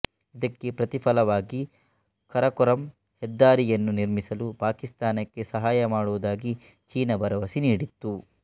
ಇದಕ್ಕೆ ಪ್ರತಿಫಲವಾಗಿ ಕರಕೋರಂ ಹೆದ್ದಾರಿಯನ್ನು ನಿರ್ಮಿಸಲು ಪಾಕಿಸ್ತಾನಕ್ಕೆ ಸಹಾಯ ಮಾಡುವುದಾಗಿ ಚೀನಾ ಭರವಸೆ ನೀಡಿತ್ತು